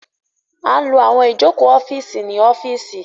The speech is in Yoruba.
A n ló àwọn Ìjoko ọ́fíìsì ní ọ́fíìsì